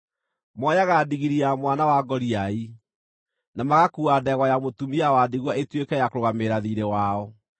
Moyaga ndigiri ya mwana wa ngoriai, na magakuua ndegwa ya mũtumia wa ndigwa ĩtuĩke ya kũrũgamĩrĩra thiirĩ wao.